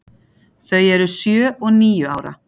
Þau eru sjö og níu ára.